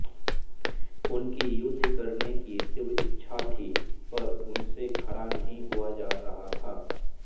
उनकी युद्ध करने की तीव्र इच्छा थी पर उनसे खड़ा नहीं हुआ जा रहा था